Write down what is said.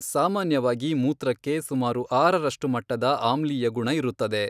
ಸಾಮಾನ್ಯವಾಗಿ ಮೂತ್ರಕ್ಕೆ ಸುಮಾರು ಆರರಷ್ಟು ಮಟ್ಟದ ಆಮ್ಲೀಯ ಗುಣ ಇರುತ್ತದೆ.